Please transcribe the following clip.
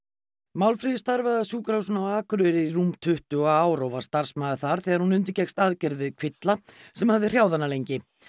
Málfríður starfaði á sjúkrahúsinu á Akureyri í tuttugu ár og var starfsmaður þar þegar hún undirgekkst aðgerð við kvilla sem hafði hrjáð hana lengi